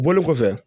Bɔli kɔfɛ